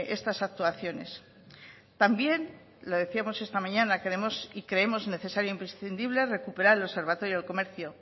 estas actuaciones también lo decíamos esta mañana queremos y creemos necesario imprescindible recuperar el observatorio del comercio